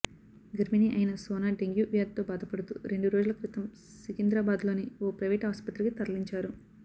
గర్భిణి అయిన సోన డెంగ్యూ వ్యాధితో బాధపడుతూ రెండు రోజుల క్రితం సికింద్రాబాద్లోని ఓ ప్రైవేటు ఆస్పత్రికి తరలించారు